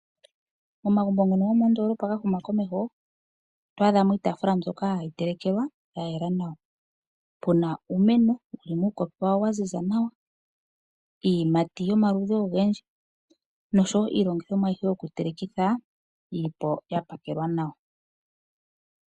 Momagumbo ngono gomoondoolopa ga huma komeho, oto adha mo iitaafula mbyoka hayi telekelwa ya yela nawa. Pu na uumeno wu li muupoto wawo wa ziza nawa, iiyimati yomaludhi ogendji noshowo iilongithomwa ayihe yokutelekitha yi li po ya pakelwa nawa.